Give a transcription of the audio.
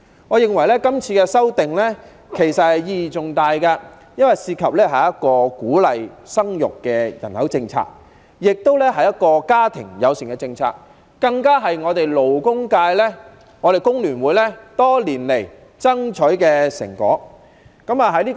我認為今次的修訂意義重大，因為涉及一項鼓勵生育的人口政策，是一項家庭友善的政策，更是工聯會、勞工界多年來爭取的成果。